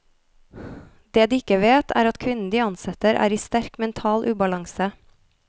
Det de ikke vet, er at kvinnen de ansetter er i sterk mental ubalanse.